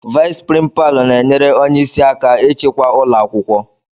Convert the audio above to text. Vais prínpalu na enyere ónyé ịsị aka ịchịkwa ụlọakwụkwọ.